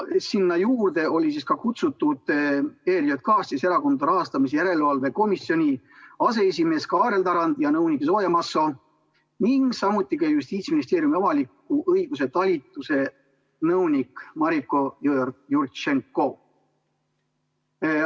Sinna juurde olid kutsutud ka ERJK ehk Erakondade Rahastamise Järelevalve Komisjoni aseesimees Kaarel Tarand ja nõunik Zoja Masso ning Justiitsministeeriumi avaliku õiguse talituse nõunik Mariko Jõeorg-Jurtšenko.